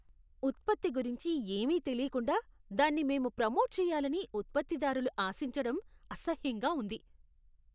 ఉత్పత్తి గురించి ఏమీ తెలీకుండా దాన్ని మేము ప్రోమోట్ చెయ్యాలని ఉత్పత్తిదారులు ఆశించడం అసహ్యంగా ఉంది.